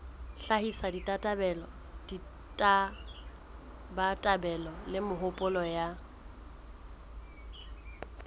hlahisa ditabatabelo le mehopolo ya